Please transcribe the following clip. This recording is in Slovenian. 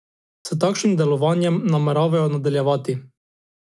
S takšnim delovanjem nameravajo nadaljevati.